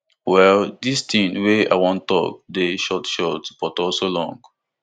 well dis thing wey i wan tok dey short short but also long